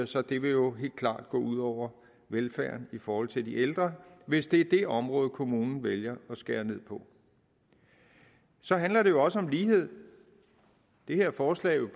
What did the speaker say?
så det vil jo helt klart gå ud over velfærden i forhold til de ældre hvis det er det område kommunen vælger at skære ned på så handler det jo også om lighed det her forslag vil